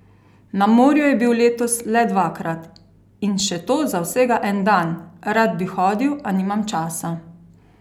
Na morju je bil letos le dvakrat, in še to za vsega en dan: "Rad bi hodil, a nimam časa.